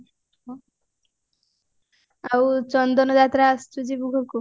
ଆଉ ଚନ୍ଦନ ଯାତ୍ରା ଆସିଚୁ ଯିବୁ ଘରକୁ